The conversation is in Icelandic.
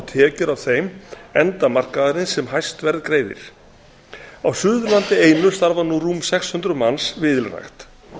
tekjur af þeim enda markaðarins sem hæst verð greiðir á suðurlandi einu starfa nú rúm sex hundruð manns við ylrækt